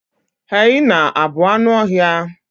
hyena a bụ anụ ọhịa?